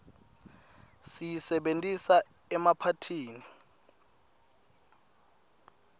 siyisebentisa emaphathini